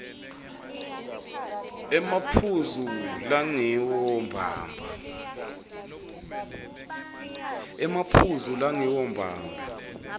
emaphuzu langiwo mbamba